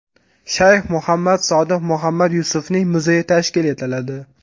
Shayx Muhammad Sodiq Muhammad Yusufning muzeyi tashkil etiladi.